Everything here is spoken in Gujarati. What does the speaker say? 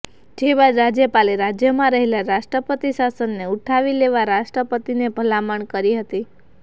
જે બાદ રાજયપાલે રાજયમાં રહેલા રાષ્ટ્રપતિ શાસનને ઉઠાવી લેવા રાષ્ટ્રપતિને ભલામણ કરી હતી